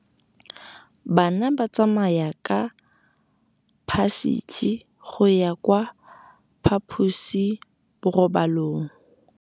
Bana ba tsamaya ka phašitshe go ya kwa phaposiborobalong.